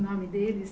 O nome deles